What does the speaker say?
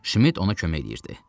Şmid ona kömək edirdi.